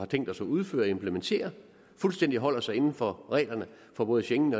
tænkt os at udføre og implementere fuldstændig holder sig inden for reglerne for både schengen